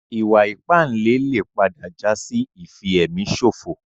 Ìwà ìpánle lè padà jásí ìfi èmi ṣòfò